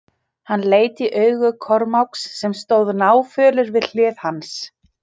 Hann leit í augu Kormáks sem stóð náfölur við hlið hans.